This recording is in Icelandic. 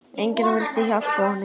Enginn vildi hjálpa honum.